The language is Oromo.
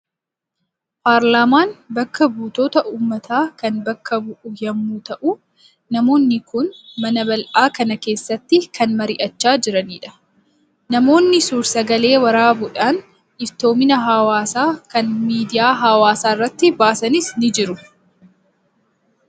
Paarlaamaan bakka buutota Uummataa kan bakka bu'u yommuu ta'u, namoonni kun mana bal'aa kana keessatti kan marii'achaa jiranidha. Namoonni suur sagalee waraabuudhaan iftoomina hawaasa kanaa miidiyaa hawaasaa irratti baasanis ni jiru.